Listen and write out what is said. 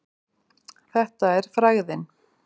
Þetta er frægðin.